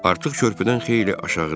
Artıq körpüdən xeyli aşağıda idim.